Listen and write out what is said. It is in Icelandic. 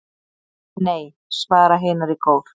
"""Nei, svara hinar í kór."""